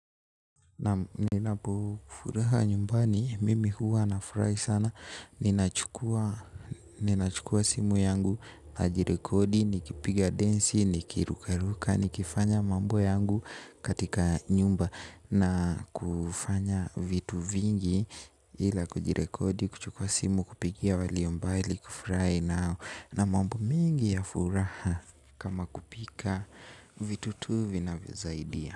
Naam ninapo furaha nyumbani, mimi huwa na furahi sana ninachukua. Ninachukua simu yangu, najirekodi, nikipiga densi, nikirukaruka, nikifanya mambo yangu katika nyumba. Na kufanya vitu vingi ila kujirekodi, kuchukua simu, kupigia walio mbali kufurahi nao. Na mambo mingi ya furaha kama kupika vitu tu vinavyosaidia.